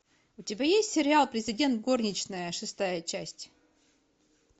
у тебя есть сериал президент горничная шестая часть